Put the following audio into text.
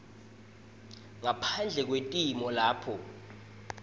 ngaphandle kwetimo lapho